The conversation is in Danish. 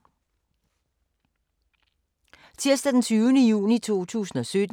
Tirsdag d. 20. juni 2017